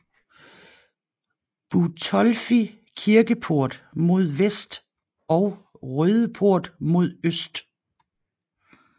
Butolphi kirkeport mod vest og Rødeport mod øst